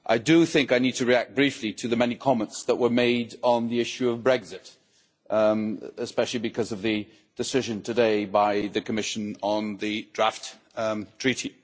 I need to react briefly to the many comments that were made on the issue of Brexit, especially because of the decision today by the Commission on the draft treaty.